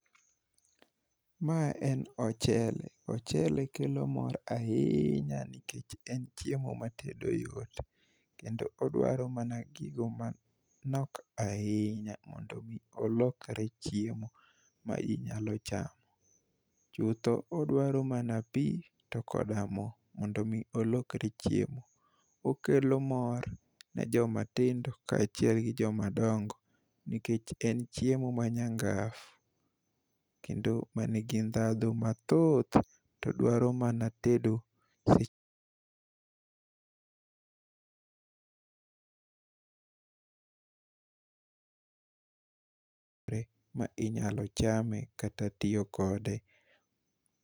Ma en ochele. Ochele kelo mor ahinya, nikech en chiemo ma tedo yot, kendo odwaro mana gigo manok ahinya, mondo omi olokore chiemo ma inyalo chamo. Chutho odwaro mana pi to koda mo, mondo omi olokre chiemo. Okelo mor ne jomatindo ka achiel gi joma dongo. Nikech en chiemo ma nyangafu kendo manigi ndadhu mathoth, to dwaro mana tedo seche ma inyalo chame kata tiyo kode.